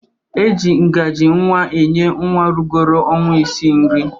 E ji ngajii nwa enye nwa rugoro ọnwa ịsịị nri.